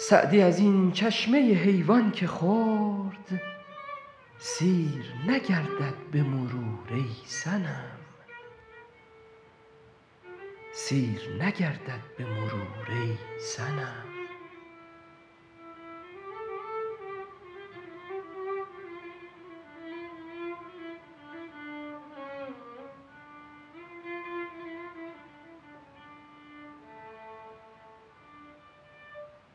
سعدی از این چشمه حیوان که خورد سیر نگردد به مرور ای صنم